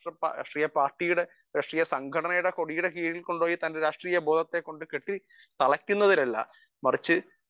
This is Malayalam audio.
സ്പീക്കർ 1 പാർട്ടിയുടെ രാഷ്ട്രീയ സംഘടനയുടെ കോടിയുടെ കീഴിൽ കൊണ്ടുപോയി തന്റെ രാഷ്ട്രീയ ബോധത്തെ കൊണ്ടുപോയി തലക്കുന്നതിലല്ല മറിച്ചു